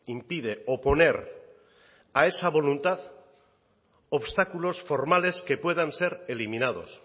impide oponer a esa voluntad obstáculos formales que puedan ser eliminados